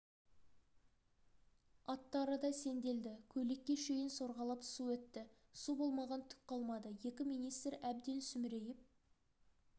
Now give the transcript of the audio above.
аттары да сенделді көйлекке шейін сорғалап су өтті су болмаған түк қалмады екі министр әбден сүмірейіп